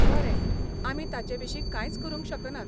बरें, आमी ताचेविशीं कांयच करूंक शकनात.